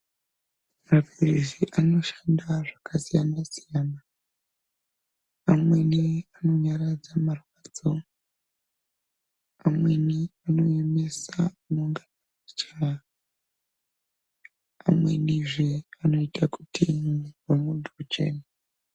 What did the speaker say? Maphiritsi anoshanda zvakasiyana-siyana. Amweni anonyaradza marwadzo, amweni anoemesa unonga echichaya. Amwenizve anoite kuti mwiri wemuntu uchene.